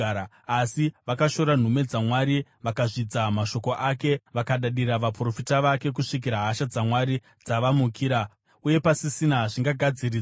Asi vakashora nhume dzaMwari, vakazvidza mashoko ake vakadadira vaprofita vake kusvikira hasha dzaMwari dzavamukira uye pasisina zvingagadziridzwa.